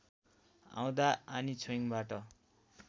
आउँदा आनी छोइङबाट